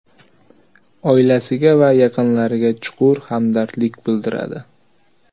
oilasiga va yaqinlariga chuqur hamdardlik bildiradi.